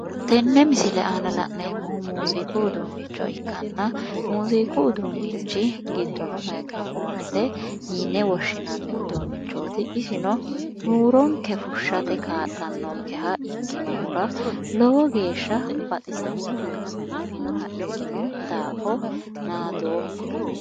Tenne misile aana la'neemmohu muziiqu uduunnicho ikkanna muziiqu uduunnichi giddono mayiikiro foonete yine woshshinnanni uduunnichooti isino huuronke fushshate kaa'lannonkeha ikkinnohura lowo geeshsha baxisannohanna biifinoha ikkino daafo nadoomma.